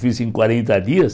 Fiz em quarenta dias.